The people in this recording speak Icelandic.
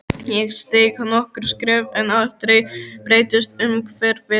Ég steig nokkur skref en aldrei breyttist umhverfið.